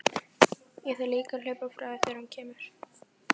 Ég þarf líka að hlaupa frá þér þegar hún kemur.